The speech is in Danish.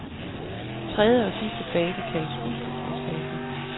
Tredje og sidste fase kaldes udslusningsfasen.